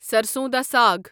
سرسوں دا ساگ